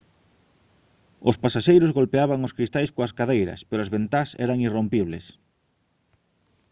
os pasaxeiros golpeaban os cristais coas cadeiras pero as ventás eran irrompibles